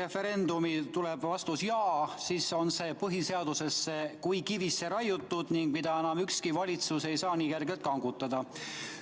referendumil tuleb vastus jah, siis on see põhiseadusesse kui kivisse raiutud ning seda enam ükski valitsus nii kergelt kangutada ei saa.